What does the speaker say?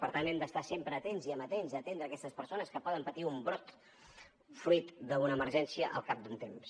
per tant hem d’estar sempre atents i amatents a atendre aquestes persones que poden patir un brot fruit d’una emergència al cap d’un temps